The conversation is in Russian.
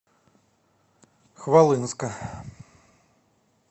хвалынска